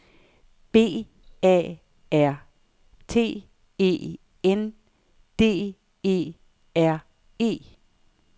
B A R T E N D E R E